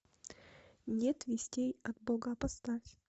нет вестей от бога поставь